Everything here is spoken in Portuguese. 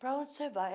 Para onde você vai?